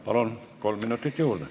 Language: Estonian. Palun, kolm minutit juurde!